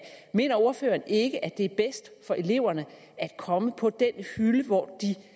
mener ordføreren ikke at det er bedst for eleverne at komme på den hylde hvor de